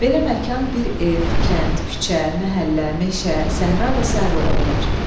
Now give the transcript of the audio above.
Belə məkan bir ev, kənd, küçə, məhəllə, meşə, səhra və sairə ola bilər.